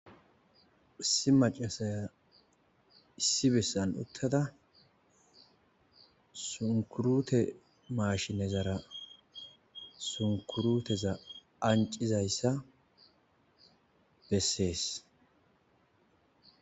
Issi maccasiya issi bessan uttada sunkkurute mashinezarra sunkurutta anccizayssa bessees